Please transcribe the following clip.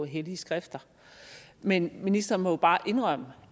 hellige skrifter men ministeren må jo bare indrømme